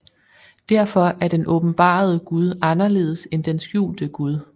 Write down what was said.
Derfor er den åbenbarede Gud anderledes end den skjulte Gud